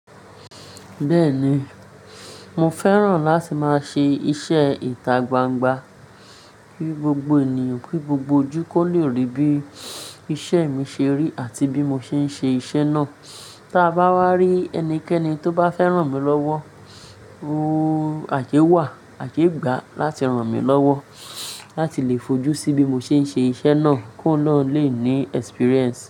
Bẹ́ẹ̀ni, mo fẹ́ràn láti máa ṣe iṣẹ́ ìta gbangba, kí gbogbo ènìyàn, kí gbogbo ojú kó lè rí bí iṣẹ́ mi ṣe rí àti bí mo ṣe ń ṣe iṣẹ́ náà. Ta bá wá rí ẹnikẹ́ni tó bá fẹ́ràn mi lọ́wọ́, àyewa, àjẹgbà láti ràn mí lọ́wọ́ láti lè fojú sí bí mo ṣe ń ṣe iṣẹ́ náà kóun na lè ní experience.